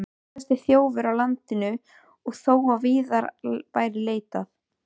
Skæðasti þjófur á landinu og þó að víðar væri leitað!